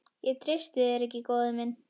Ég treysti þér ekki, góði minn.